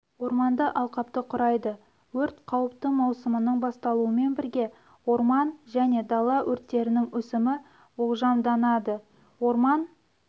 орманды алқапты құрайды өрт қауіпті маусымының басталуымен бірге орман және дала өрттерінің өсімі болжамданады орман